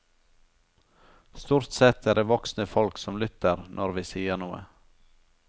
Stort sett er det voksne folk, som lytter når vi sier noe.